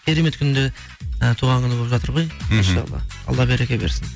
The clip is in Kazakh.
керемет күнде і туған күні болып жатыр ғой машалла алла береке берсін